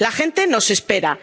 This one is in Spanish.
La gente nos espera.